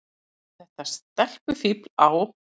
Og þetta stelpufífl á